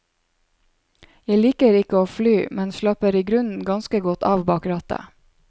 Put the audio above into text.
Jeg liker ikke å fly, og slapper i grunnen ganske godt av bak rattet.